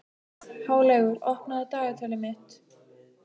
Háleygur, opnaðu dagatalið mitt.